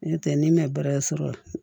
N'o tɛ n'i ma baara sɔrɔ